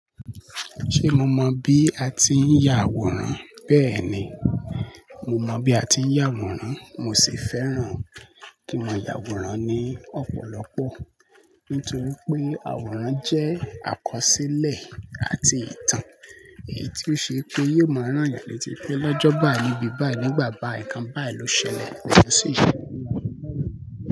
Ṣé mo mọ bí a ti ń ya àwòrán? Bẹ́ẹ̀ni, mo mọ bí a ti ń ya àwòrán. Mo sì fẹ́ràn kí ma ya àwòrán ní ọ̀pọ̀lọpọ̀. Nítorí pé àwòrán jẹ́ àkọsílẹ̀ àti ìtàn. Èyí tí ó ṣe pé yóò máa rán eeyan lé tí pé lọ́jọ́ báyìí níbí báyìí, nígbà báyii ǹkan báyìí ló ṣẹlẹ̀, yóò sì ṣẹlẹ̀ mọ́